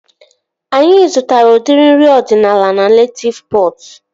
Anyị zụtara udiri nri ọdịnala na Netịv Pọt